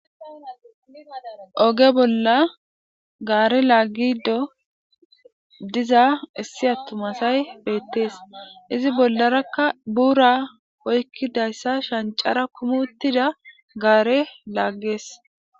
Oge bolla gaare laaggido diza issi attumasay beettees izi bollarakka buura oykkidayssa shancara kumuttida gaare laaggees